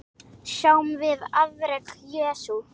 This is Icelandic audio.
Sjáum við afrek Jesú?